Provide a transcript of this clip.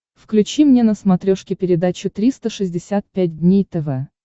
включи мне на смотрешке передачу триста шестьдесят пять дней тв